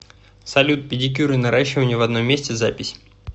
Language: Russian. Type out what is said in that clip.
салют педикюр и наращивание в одном месте запись